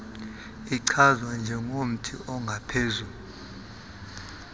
ichazwa njengomthi ongaphezu